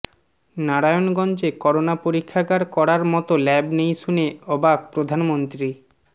নারায়ণগঞ্জে করোনা পরীক্ষাগার করার মতো ল্যাব নেই শুনে অবাক প্রধানমন্ত্রী